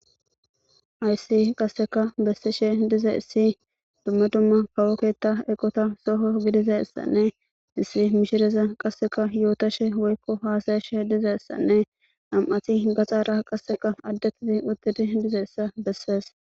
Hayssi qassekka bessishe dizayssi dumma dumma kawo keetta eqota toho godozayssanne issi mishireza yotashe woykko haasayashe dizayssanne nami'ati gaxara qassekka adde shin utti dizayssa besses.